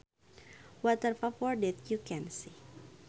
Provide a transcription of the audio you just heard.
Water vapor that you can see